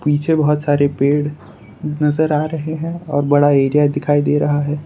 पीछे बहोत सारे पेड़ नजर आ रहे हैं और बड़ा एरिया दिखाई दे रहा है।